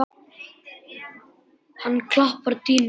Hann klappar á dýnuna.